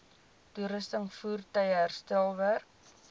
toerusting voertuie herstelwerk